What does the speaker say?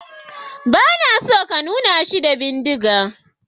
Ba na so ka nuna shi da bindiga.